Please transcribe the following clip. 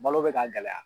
Balo bɛ ka gɛlɛya